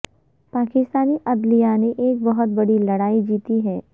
پاکستانی عدلیہ نے ایک بہت بڑی لڑائی جیتی ہے